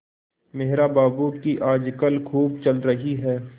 मेहरा बाबू की आजकल खूब चल रही है